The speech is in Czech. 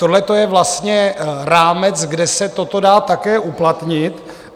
Tohle je vlastně rámec, kde se toto dá také uplatnit.